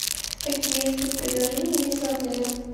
какие спецпредложения есть в отеле